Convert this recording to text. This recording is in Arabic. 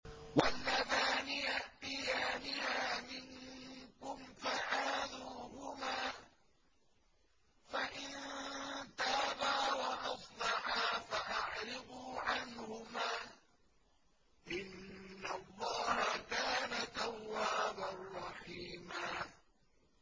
وَاللَّذَانِ يَأْتِيَانِهَا مِنكُمْ فَآذُوهُمَا ۖ فَإِن تَابَا وَأَصْلَحَا فَأَعْرِضُوا عَنْهُمَا ۗ إِنَّ اللَّهَ كَانَ تَوَّابًا رَّحِيمًا